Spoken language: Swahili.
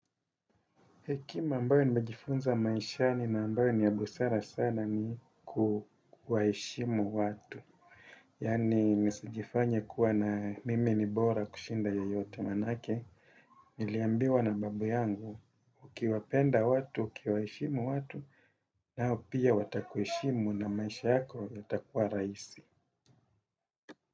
Hekima ambayo nimejifunza maishani na ambayo ni ya busara sana ni kuwaheshimu watu. Yaani nisijifanye kuwa na mimi ni bora kushinda yeyote maanake. Niliambiwa na babu yangu, ukiwapenda watu, ukiwaheshimu watu, nao pia watakuheshimu na maisha yako yatakuwa rahisi.